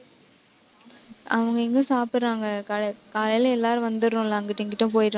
அவங்க எங்க சாப்பிடுறாங்க. கால~ காலையில எல்லாரும் வந்தர்றோம்ல, அங்கிட்டும், இங்கிட்டும் போயிடறோம்